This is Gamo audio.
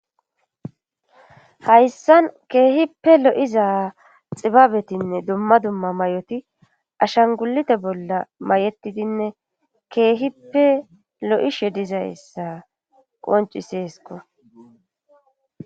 hayssan keehippe lo7iza xibabetinne dumma dumma may7oti ashangulite bolla may7etidinne keehippe lo7ishe dizayssa qonciseesko